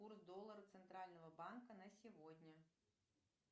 курс доллара центрального банка на сегодня